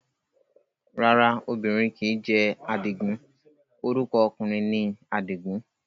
Rárá obìnrin kìí jẹ́ Àdìgún, orúkọ ọkùnrin ni Àdìgún